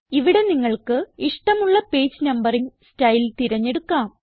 ഇവിടെ നിങ്ങൾക്ക് ഇഷ്ടമുള്ള പേജ് നമ്പറിംഗ് സ്റ്റൈൽ തിരഞ്ഞെടുക്കാം